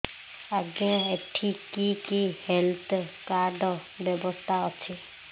ଆଜ୍ଞା ଏଠି କି କି ହେଲ୍ଥ କାର୍ଡ ବ୍ୟବସ୍ଥା ଅଛି